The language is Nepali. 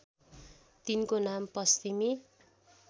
तिनको नाम पश्चिमी